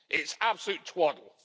It's absolute twaddle.